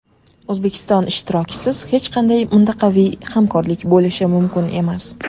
O‘zbekiston ishtirokisiz hech qanday mintaqaviy hamkorlik bo‘lishi mumkin emas.